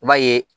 I b'a ye